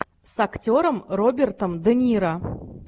с актером робертом де ниро